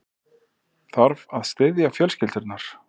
Þarf að styðja fjölskyldurnar